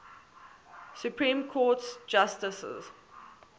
supreme court justices